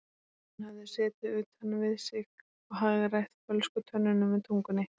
Hún hafði setið utan við sig og hagrætt fölsku tönnunum með tungunni.